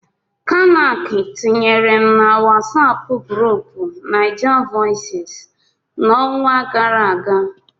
Kanac tinyere m na Wọsọpu grupuu Naijavoices n'ọnwa gara aga.